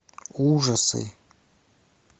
ужасы